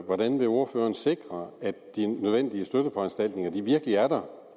hvordan vil ordføreren sikre at de nødvendige støtteforanstaltninger virkelig er der